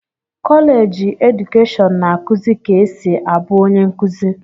kọleji edukeshọn na-akụzi ka esi abụ onye nkuzi.